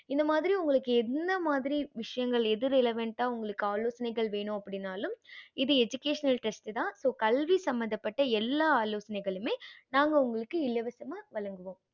இந்த மாதிரி உங்களுக்கு என்ன மாதிரி விஷயங்கள் எது relavent உங்களுக்கு ஆலோசனை வேண்ணும் அப்படினாலும் இது educational trast தான் so கல்வி சம்பந்த பட்ட எல்லா ஆலோசனைகளுமே நாங்க உங்களுக்கு இலவசமா வழங்குவோம்